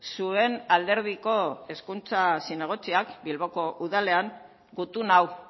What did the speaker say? zuen alderdiko hezkuntza zinegotziak bilboko udalean gutun hau